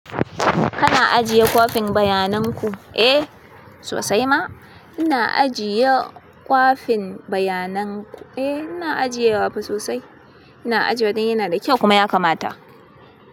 Kana ajiye kwafin bayanan ku? Eh sosai ma ina ajiye kwafin bayanan ku. Eh ina ajiye wa fa sosai. Ina ajiye don yana da kyau kuma ya kamata.